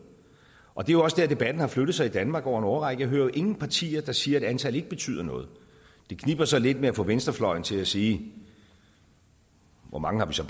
og det er jo også der debatten har flyttet sig i danmark over en årrække jeg hører ingen partier der siger at antal ikke betyder noget det kniber så lidt med at få venstrefløjen til at sige hvor mange vi så